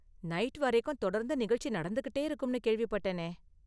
Night வரைக்கும் தொடர்ந்து நிகழ்ச்சி நடந்துகிட்டே இருக்கும்னு கேள்விப்பட்டேனே?